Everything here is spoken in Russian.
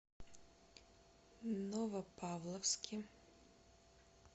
новопавловске